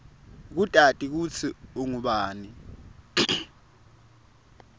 kutati kutsi ungubani